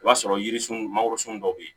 I b'a sɔrɔ yiririsun mangorosun dɔ be yen